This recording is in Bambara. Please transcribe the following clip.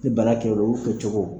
Ni kɛ u kɛcogo